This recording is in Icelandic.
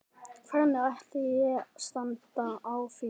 Hvernig ætli standi á því?